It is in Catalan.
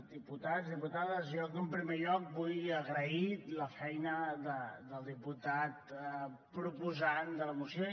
diputats diputades jo en primer lloc vull agrair la feina del diputat proposant de la moció